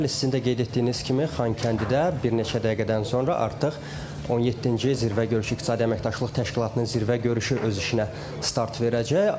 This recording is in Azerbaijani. Bəli, sizin də qeyd etdiyiniz kimi, Xankəndidə bir neçə dəqiqədən sonra artıq 17-ci zirvə görüşü, İqtisadi əməkdaşlıq təşkilatının zirvə görüşü öz işinə start verəcək.